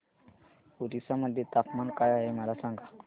ओरिसा मध्ये तापमान काय आहे मला सांगा